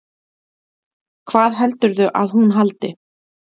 Hvað heldurðu að hún haldi?